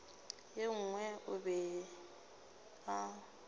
ye nngwe o be a